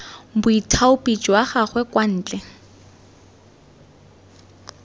boithaopi jwa gagwe kwa ntle